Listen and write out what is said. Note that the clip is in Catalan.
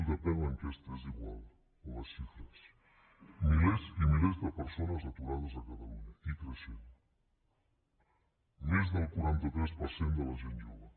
depèn l’enquesta és igual o les xifres milers i milers de persones aturades a catalunya i creixent més del quaranta tres per cent de la gent jove